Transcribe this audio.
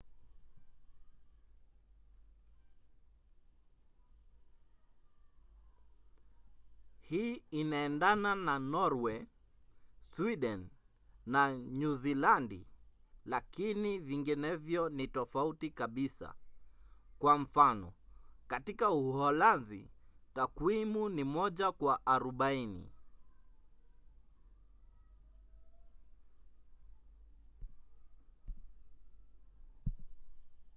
hii inaendana na norway sweden na nyuzilandi lakini vinginevyo ni tofauti kabisa kwa mfano katika uholanzi takwimu ni moja kwa arobaini